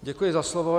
Děkuji za slovo.